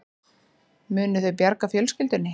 Munu þau bjarga fjölskyldunni